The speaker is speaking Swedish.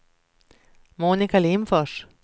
Monica Lindfors